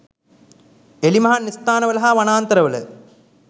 එළිමහන් ස්ථානවල හා වනාන්තරවල